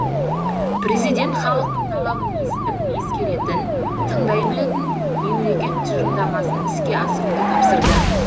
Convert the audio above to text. президент халықтың талабын естіп ескеретін тыңдай білетін мемлекет тұжырымдамасын іске асыруды тапсырды